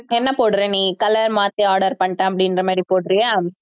என்ன போடுற நீ colour மாத்தி order பண்ணிட்டேன் அப்படின்ற மாதிரி போடுறியா